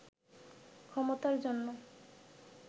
ক্ষমতার জন্য